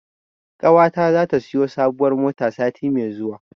Ƙawata zata siyo sabuwar mota sati mai zuwa.